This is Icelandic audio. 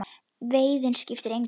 Veiðin skipti engu.